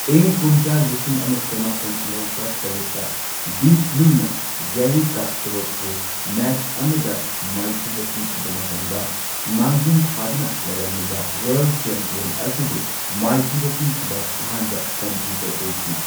ꯏꯪ ꯀꯨꯝꯖꯥ ꯂꯤꯁꯤꯡ ꯑꯃ ꯆꯃꯥꯄꯟ ꯃꯧꯗ꯭ꯔꯥ ꯇꯔꯦꯠꯇ ꯗꯤꯞ ꯕ꯭ꯂꯨꯅ ꯒꯦꯔꯤ ꯀꯥꯁꯄꯥꯔꯣꯚꯄꯨ ꯃꯦꯆ ꯑꯃꯗ ꯃꯥꯏꯊꯤꯕ ꯄꯤꯈꯤꯕ ꯃꯇꯝꯗ ꯃꯥꯡꯖꯤꯟ ꯊꯥꯗꯨꯅ ꯂꯩꯔꯝꯂꯤꯕ ꯋꯥꯔꯜꯗ ꯆꯦꯝꯄꯤꯌꯟ ꯑꯁꯤꯕꯨ ꯃꯥꯏꯊꯤꯕ ꯄꯤꯈꯤꯕ ꯑꯍꯥꯟꯕ ꯀꯝꯄ꯭ꯌꯨꯇꯔ ꯑꯣꯏꯈꯤ꯫